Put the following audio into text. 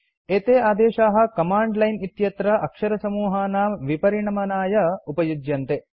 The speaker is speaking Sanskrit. एते आदेशाः कमाण्ड लाइन् इत्यत्र अक्षरसमूहानां विपरिणमनाय उपयुज्यन्ते